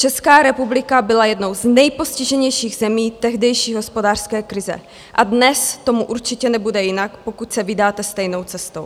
Česká republika byla jednou z nejpostiženějších zemí tehdejší hospodářské krize a dnes tomu určitě nebude jinak, pokud se vydáte stejnou cestou.